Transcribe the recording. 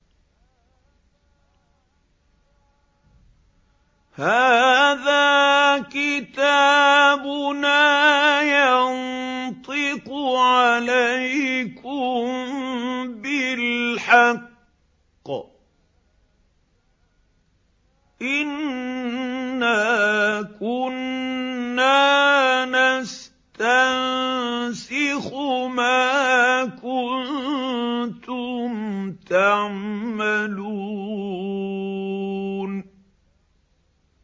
هَٰذَا كِتَابُنَا يَنطِقُ عَلَيْكُم بِالْحَقِّ ۚ إِنَّا كُنَّا نَسْتَنسِخُ مَا كُنتُمْ تَعْمَلُونَ